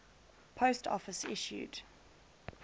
post office issued